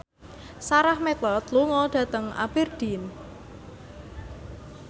Sarah McLeod lunga dhateng Aberdeen